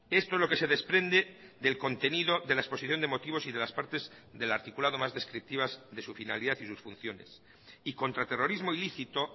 esto es lo que se desprende del contenido de la exposición de motivos y de las partes del articulado más descriptivas de su finalidad y sus funciones y contraterrorismo ilícito